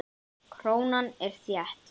Krónan er þétt.